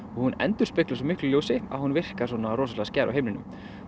hún endurspeglar svo miklu ljósi að hún virkar svona rosalega skær á himninum